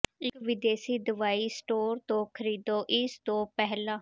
ਇੱਕ ਵਿਦੇਸ਼ੀ ਦਵਾਈ ਸਟੋਰ ਤੋਂ ਖਰੀਦੋ ਇਸ ਤੋਂ ਪਹਿਲਾਂ